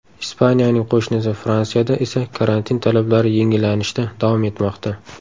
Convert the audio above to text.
Ispaniyaning qo‘shnisi Fransiyada esa karantin talablari yengillanishda davom etmoqda.